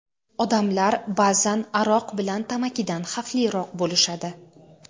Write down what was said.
Odamlar ba’zan aroq bilan tamakidan xavfliroq bo‘lishadi.